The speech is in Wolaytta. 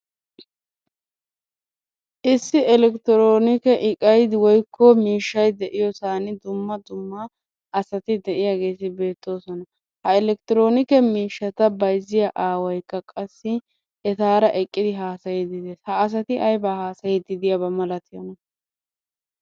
Issi elektironike iqay woyikko miishshay de"iyoosan dumma dumma asati de"iyageeti beettoosona. Ha elektronikee miishshata bayzziya aawaykka qassi etaara eqidi haasayidi de'ees. Ha asati aybaa haasayiiddi diyaba malatiyona?